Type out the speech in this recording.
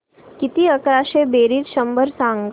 किती अकराशे बेरीज शंभर सांग